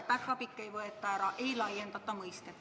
Ja päkapikke ei võeta ära, ei laiendata mõistet.